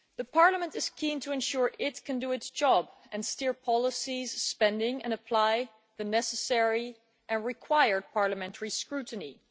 Parliament is keen to ensure it can do its job and steer policies, spending and apply the necessary and required parliamentary scrutiny.